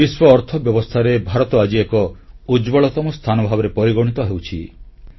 ବିଶ୍ୱ ଅର୍ଥ ବ୍ୟବସ୍ଥାରେ ଭାରତ ଆଜି ଏକ ଉଜ୍ଜ୍ୱଳତମ ସ୍ଥାନ ଭାବରେ ପରିଗଣିତ ହେଉଛି